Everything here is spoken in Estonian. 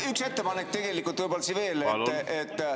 Üks ettepanek võib-olla siin veel.